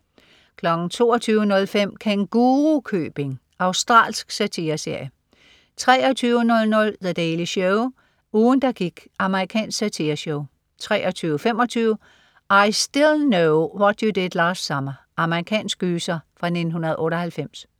22.05 Kængurukøbing. Australsk satireserie 23.00 The Daily Show. Ugen der gik. Amerikansk satireshow 23.25 I Still Know What You Did Last Summer. Amerikansk gyser fra 1998